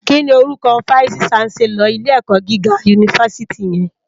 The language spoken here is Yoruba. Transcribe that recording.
Kini órúkò fáìsí ṣánsèlòr ilé èkò gigá unifásìtí yèn?